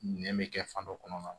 Nɛn bɛ kɛ fan dɔ kɔnɔna na